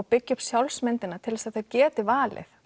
byggja upp sjálfsmyndina til þess að þau geti valið